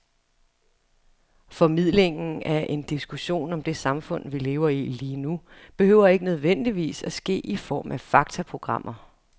Formidlingen af en diskussion om det samfund, vi lever i lige nu, behøver ikke nødvendigvis at ske i form af faktaprogrammer.